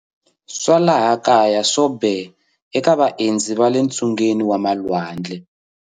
Swa laha kaya swo be, eka vaendzi va le ntsungeni wa malwandle.